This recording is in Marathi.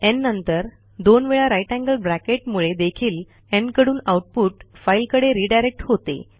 न् नंतर दोन वेळा ग्रेटर थान साइन मुळे देखील न् कडून आऊटपुट फाईलकडे रिडायरेक्ट होते